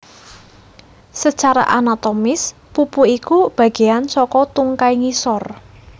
Sacara anatomis pupu iku bagéan saka tungkai ngisor